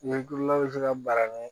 Ɲɛkililaw bɛ se ka bara kɛ